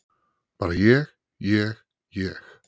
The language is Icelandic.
Bara ég, ég, ég.